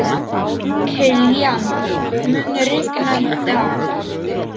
Kilían, mun rigna í dag?